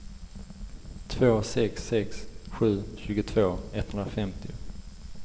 två sex sex sju tjugotvå etthundrafemtio